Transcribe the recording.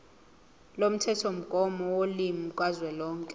lomthethomgomo wolimi kazwelonke